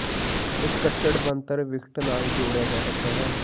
ਇਸੇ ਕੱਟੜ ਬਣਤਰ ਵਿਕਟ ਨਾਲ ਜੋੜਿਆ ਜਾ ਸਕਦਾ ਹੈ